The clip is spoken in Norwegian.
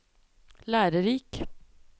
lærerik